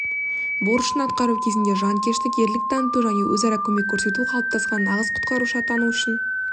борышын атқару кезінде жанкештік ерлік таныту және өзара көмек көрсету қалыптасқан нағыз құтқарушы атану үшін